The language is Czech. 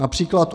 Například.